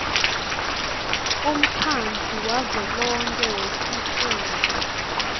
umkhandlu wavelonkhe wetifundza